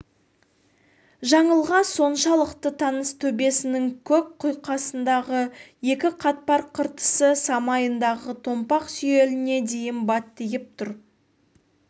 жаңылға соншалықты таныс төбесінің көк құйқасындағы екі қатпар қыртысы самайындағы томпақ сүйеліне дейін баттиып тұр